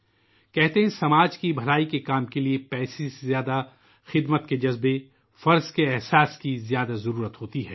یہ کہا جاتا ہے کہ سماج کی فلاح و بہبود کے لئے، پیسے سے زیادہ جذبۂ خدمت اور فرض کا احساس درکار ہوتا ہے